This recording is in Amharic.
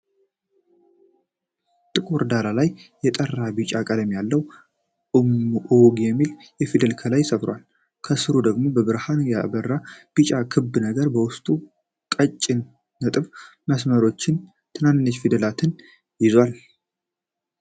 ጥቁር ዳራ ላይ የጠራ ቢጫ ቀለም ያለው 'አውግ' የሚል ፊደል ከላይ ሰፍሯል። ከስሩ ደግሞ በብርሃን ያበራ ቢጫ ክብ ነገር በውስጡ ቀጭን ነጥብ መስመሮችና ትናንሽ ፊደላትን ይዟል።